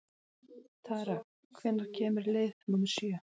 Tara, hvenær kemur leið númer sjö?